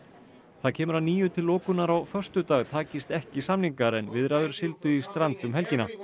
það kemur að nýju til lokunar á föstudag takist ekki samningar en viðræður sigldu í strand um helgina